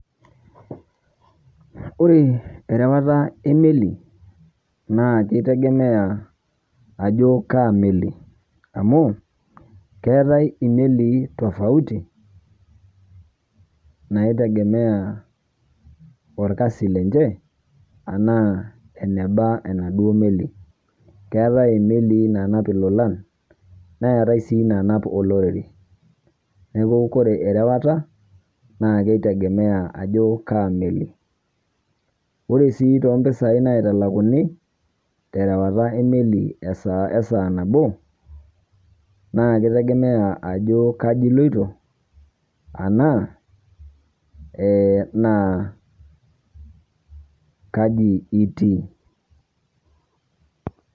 Ore rewata e meli naa kaitegemea ajoo kaa meli amu keetai melii tofauti naitegemea olkasi lenchee ana ene daa enadoo meli. Keetai melii naanap lolaang' neetai sii naanap oloirobi . Neeku kore erewata naa keitegemea ajoo kaa meli . Ore sii te mpisai naitalakuni te laata e meli e saa naboo naa keitegemea ajoo kajii elooto ana ee naa kajii itii.